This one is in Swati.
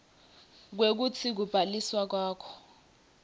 kwekutsi kubhaliswa kwakho